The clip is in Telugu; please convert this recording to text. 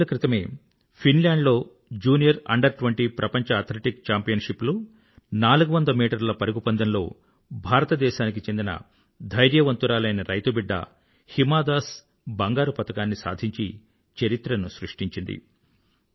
కొద్ది రోజుల క్రితమే ఫిన్ ల్యాండ్ లో జూనియర్ అండర్20 ప్రపంచ ఆథ్లెటిక్ ఛాంపియన్షిప్ లో 400మీట్లర్ల పరుగుపందెంలో భారతదేశానికి చెందిన ధైర్యవంతురాలైన రైతుబిడ్డ హిమా దాస్ బంగారు పతకాన్ని సాధించి చరిత్రను సృష్టించింది